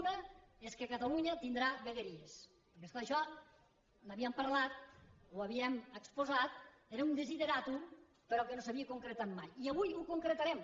una és que catalunya tindrà vegueries perquè és clar d’això n’havíem parlat ho havíem exposat era un desideràtum però que no s’havia concretat mai i avui ho concretarem